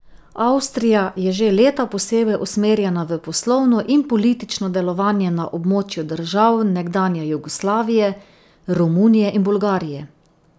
Avstrija je že leta posebej usmerjena v poslovno in politično delovanje na območju držav nekdanje Jugoslavije, Romunije in Bolgarije.